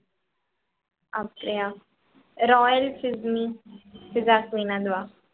அப்படியா royal அதுவா